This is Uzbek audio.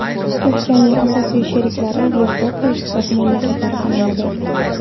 Turkiyaning asosiy sheriklari Yevropa ittifoqi mamlakatlari sanaladi.